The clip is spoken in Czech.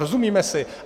Rozumíme si?